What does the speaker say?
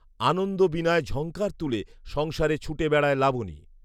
আনন্দ বীণায় ঝংকার তুলে সংসারে ছুটে বেড়ায় লাবনী